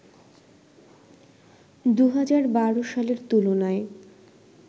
২০১২ সালের তুলনায়